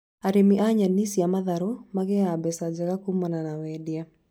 Arĩmi a nyeni cia matharũ magĩaga mbeca njega kumana na wendia